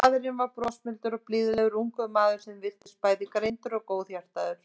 Hitt er aftur á móti verra ef fjarbúðin á að standa í óákveðinn tíma.